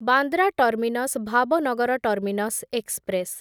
Bandra terminus Bhavnagar terminus express